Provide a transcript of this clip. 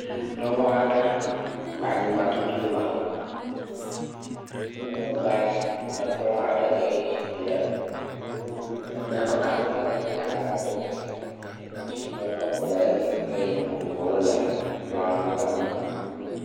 Nyɔnu aɖe le anyigbã tutum le xɔme emegbea kplɔ aɖe li eye zikpui le enu eda eƒe kaƒomɔ ɖe agbalẽ aɖe dzi tsinokɔpo le edzi eye nu vovovowo le kplɔadzi le emegbe